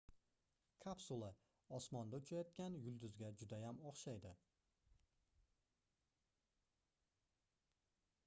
kapsula osmonda uchayotgan yulduzga juda ham oʻxshaydi